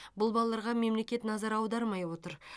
бұл балаларға мемлекет назар аудармай отыр